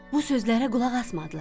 Bu sözlərə qulaq asmadılar.